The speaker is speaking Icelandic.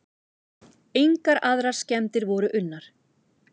Engar aðrar skemmdir voru unnar.